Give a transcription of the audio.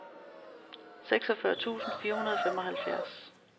seksogfyrre tusind fire hundrede og femoghalvfjerds